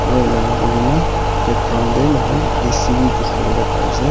aru ena kurina background te moikhan ac bi dikhi wole pai ase.